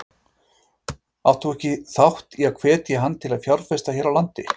Áttir þú ekki þátt í að hvetja hann til að fjárfesta hér á landi?